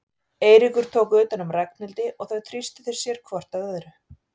Eiríkur tók utan um Ragnhildi og þau þrýstu sér hvort að öðru.